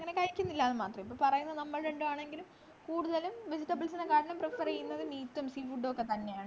അങ്ങനെ കഴിക്കുന്നില്ല ന്നു മാത്രേ ഉള്ളു പറയുന്ന നമ്മൾ രണ്ടുപേരാണെങ്കിലും കൂടുതലും vegetables നെക്കറ്റിലും prefer ചെയ്യുന്നത് meats ഉം sea food ഉം ഒക്കെത്തന്നെയാണ്